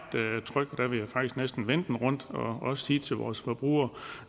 tryg der vil jeg faktisk næsten vende den rundt og siger til vores forbrugere